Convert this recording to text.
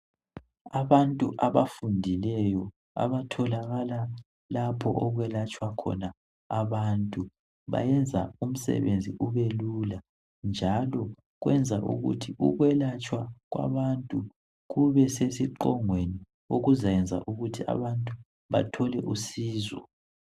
Abantu abafundileyo abatholakala lapho okwelatshwa khona abantu. Bayenza umsebenzi ubelula njalo kwenza ukuthi ukwelatshwa kwabantu kube sesiqongweni okuzayenza ukuthi abantu bathole usizo.